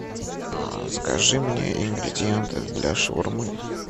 закажи мне ингридиенты для шаурмы